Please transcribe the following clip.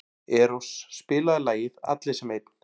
Eros, spilaðu lagið „Allir sem einn“.